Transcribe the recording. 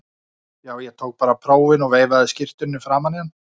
Já, ég tók bara prófin og veifaði skírteininu framan í hann.